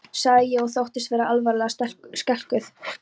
sagði ég og þóttist vera alvarlega skelkuð.